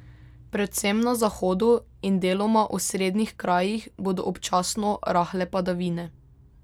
Predvsem na zahodu in deloma osrednjih krajih bodo občasno rahle padavine.